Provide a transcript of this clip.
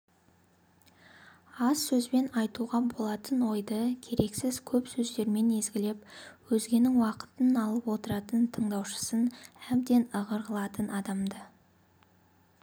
аз сөзбен айтуға болатын ойды керексіз көп сөздермен езгілеп өзгенің уақытын алып отыратын тыңдаушысын әбден ығыр қылатын адамды